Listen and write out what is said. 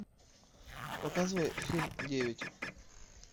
показывай фильм девять